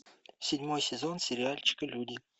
седьмой сезон сериальчика люди